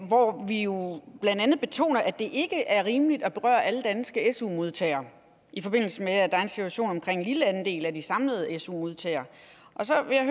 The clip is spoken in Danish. hvor vi jo blandt andet betoner at det ikke er rimeligt at berøre alle danske su modtagere i forbindelse med at der er en situation med en lille andel af de samlede su modtagere så vil jeg